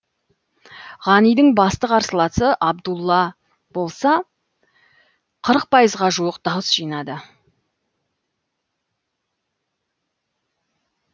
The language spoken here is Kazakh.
ғанидің басты қарсыласы абдулла абдулла болса қырық пайызға жуық дауыс жинады